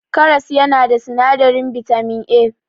Karas yana da sinadarin bitamin A.